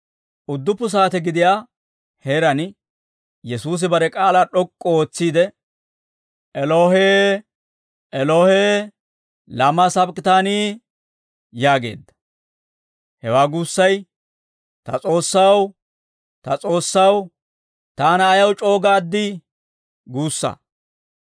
Udduppu saate gidiyaa heeraan Yesuusi bare k'aalaa d'ok'k'u ootsiide, «Elohee, Elohee, laamaa sabak'itaanii?» yaageedda. Hewaa guussay, «Ta S'oossaw, ta S'oossaw, taana ayaw c'o"u gaad?» guussaa.